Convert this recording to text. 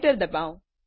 enter ડબાઓ